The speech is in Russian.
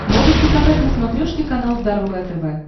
можешь показать на смотрешке канал здоровое тв